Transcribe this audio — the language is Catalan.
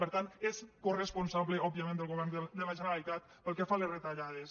per tant és coresponsable òbviament del govern de la generalitat pel que fa a les retallades